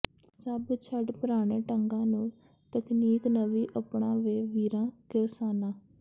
ਸਭ ਛੱਡ ਪਰਾਣੇ ਢੰਗਾਂ ਨੂੰ ਤਕਨੀਕ ਨਵੀ ਅਪਣਾ ਵੇ ਵੀਰਾਂ ਕਿਰਸਾਨਾਂ